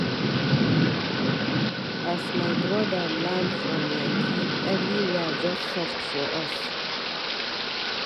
As my broda land from yankee, everywhere just soft for us.